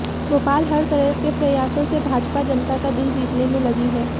भोपाल हर तरह के प्रयासों से भाजपा जनता का दिल जीतने में लगी है